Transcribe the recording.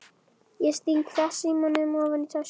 Ég sting farsímanum ofan í tösku.